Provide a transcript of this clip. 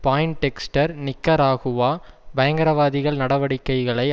Poindexter Nicaragua பயங்கரவாதிகள் நடவடிக்கைகளை